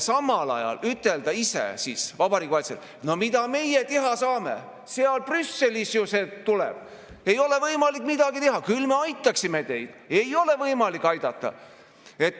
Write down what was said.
Samal ajal Vabariigi Valitsus ise ütleb: no mida meie teha saame, sealt Brüsselist see tuleb, ei ole võimalik midagi teha, küll me aitaksime teid, aga ei ole võimalik aidata.